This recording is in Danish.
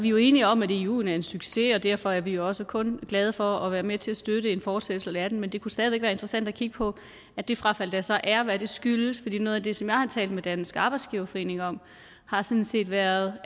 jo enige om at iguen er en succes og derfor er vi også kun glade for at være med til at støtte en fortsættelse af den men det kunne stadig væk være interessant at kigge på hvad det frafald der så er skyldes for noget af det som jeg har talt med dansk arbejdsgiverforening om har sådan set været